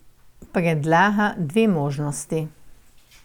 Predlaga dve možnosti.